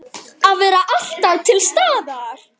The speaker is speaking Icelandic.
Að vera alltaf til staðar.